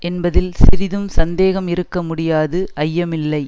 என்பதில் சிறிதும் சந்தேகம் இருக்க முடியாது ஐயமில்லை